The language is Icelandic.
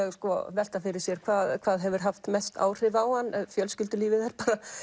velta fyrir sér hvað hvað hefur haft mest áhrif á hann fjölskyldulífið er